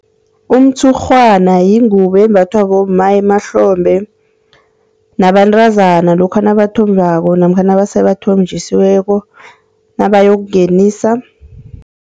Umtshurhwana yingubo embathwa bomma emahlombe nabantazana lokha nabathombako namkha nasebathonjisiweko, nabayokungenisa.